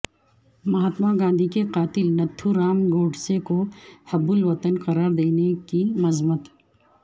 مہاتما گاندھی کے قاتل نتھورام گوڈسے کو حب الوطن قرار دینے کی مذمت